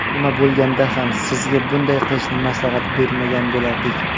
Nima bo‘lganda ham sizga bunday qilishni maslahat bermagan bo‘lardik.